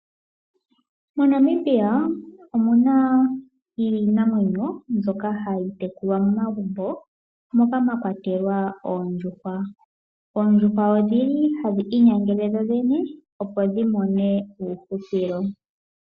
MoNamibia omuna iinamwenyo mbyoka hayi tekulwa momagumbo moka mwa kwatelwa oondjuhwa. Oondjuhwa odhili hadhi inyangele dhodhene opo dhimone uuhupilo.